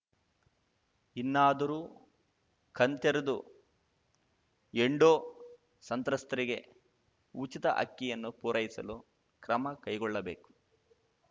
ಇನ್ನಾದರೂ ಕಣ್ತೆರೆದು ಎಂಡೋ ಸಂತ್ರಸ್ತರಿಗೆ ಉಚಿತ ಅಕ್ಕಿಯನ್ನು ಪೂರೈಸಲು ಕ್ರಮ ಕೈಗೊಳ್ಳಬೇಕು